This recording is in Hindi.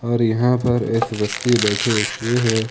और यहां पर एक व्यक्ति बैठे हुए है।